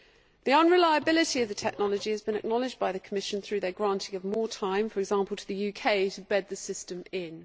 The unreliability of the technology has been acknowledged by the Commission through their granting of more time, for example, to the UK to bed the system in.